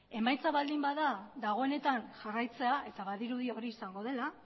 emaitza baldin bada dagoenetan jarraitzea eta badirudi hori izango dela